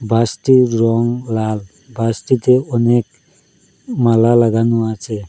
বাসটির রং লাল বাসটিতে অনেক মালা লাগানো আছে।